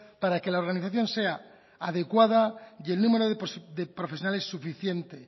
para que la organización sea adecuada y el número de profesionales suficiente